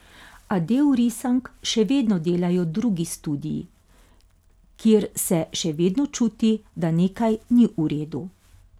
A del risank še vedno delajo drugi studii, kjer se še vedno čuti, da nekaj ni v redu.